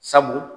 Sabu